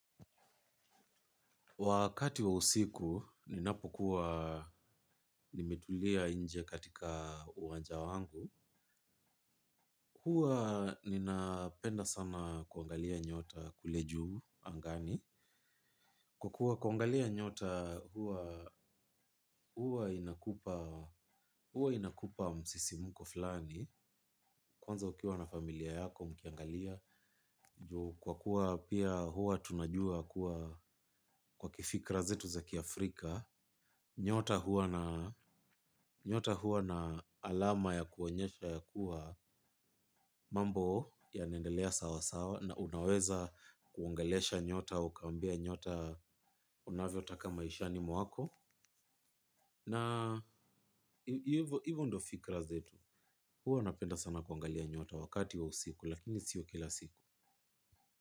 Wakati wa usiku, ninapokuwa nimetulia inje katika uwanja wangu, huwa ninapenda sana kuangalia nyota kule juu angani. Kwa kua kuangalia nyota huwa huwa inakupa msisimuko fulani, kwanza ukiwa na familia yako mkiangalia. Ju kwa kuwa pia huwa tunajua kuwa kwa kifikra zetu za kiAfrika nyota huwa na alama ya kuonyesha ya kuwa mambo yanaendelea sawasawa na unaweza kuongelesha nyota ukaambia nyota unavyotaka maishani mwako. Na hivo ivo ndo fikra zetu hua napenda sana kuangalia nyota wakati wa usiku lakini sio kila siku.